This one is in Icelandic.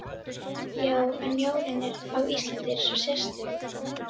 Já, en jólin á Íslandi eru svo sérstök